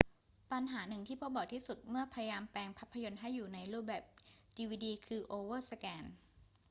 ปัญหาหนึ่งที่พบบ่อยที่สุดเมื่อพยายามแปลงภาพยนตร์ให้อยู่ในรูปแบบดีวีดีคือโอเวอร์สแกน